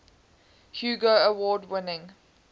hugo award winning